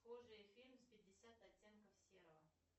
схожий фильм с пятьдесят оттенков серого